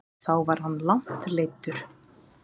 Þá var hann langt leiddur.